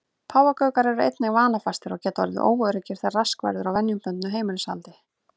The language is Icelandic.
Páfagaukar eru einnig vanafastir og geta orðið óöruggir þegar rask verður á venjubundnu heimilishaldi.